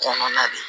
Kɔnɔna de